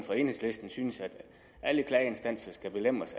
for enhedslisten synes at alle klageinstanser skal belemres